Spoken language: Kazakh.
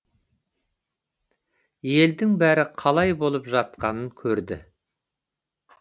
елдің бәрі қалай болып жатқанын көрді